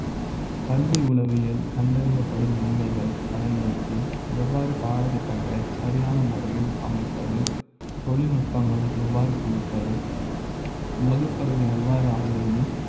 கல்வி உளவியல் கண்டறியப்படும் உண்மைகள் பயன்படுத்தி எவ்வாறு பாடத்திட்ட ங்களை சரியான முறையில் அமைப்பது தொழில்நுட்ப ங்கள் எவ்வாறு புகுப்பது வகுப்பறை எவ்வாறு ஆழ்வது